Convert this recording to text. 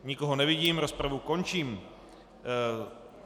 Nikoho nevidím, rozpravu končím.